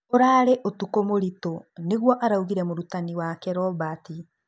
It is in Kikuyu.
Ũrarũ ũtukũ mũritũ nĩguo araugire mũrutani wake Robert.